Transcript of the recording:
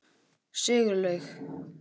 Sigurlaug